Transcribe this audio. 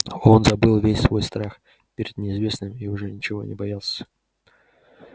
он забыл весь свой страх перед неизвестным и уже ничего не боялся